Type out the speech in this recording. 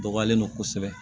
Dɔgɔyalen don kosɛbɛ